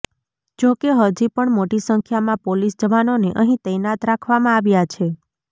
જો કે હજી પણ મોટી સંખ્યામાં પોલીસ જવાનોને અહીં તૈનાત રાખવામાં આવ્યા છે